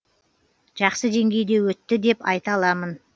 жақсы деңгейде өтті деп айта аламын